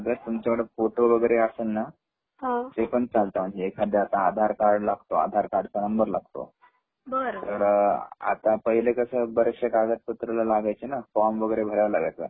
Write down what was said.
नाही लागत.नाही कागदपत्र नाही लागत तुमच्याकड फोटो वैगेरे असेल न हा ते पण चालते एकाद्याच आधार कार्ड लागतो आधार कार्डचानंबरलागतो बर तर आता पहिले कस बरेचसे कागदपत्र लागायचे न फ्रॉम वैगेरे भरावा लागायचा